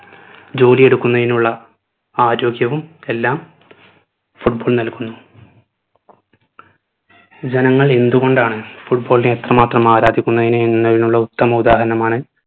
ജോലി എടുക്കുന്നതിനുള്ള ആരോഗ്യവും എല്ലാം football നൽകുന്നു ജനങ്ങൾ എന്തുകൊണ്ടാണ് football നെ അത്രമാത്രം ആരാധിക്കുന്നത് എന്നയിനുള്ള ഉത്തമ ഉദാഹരണമാണ്